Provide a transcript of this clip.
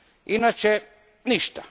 Inače, ništa.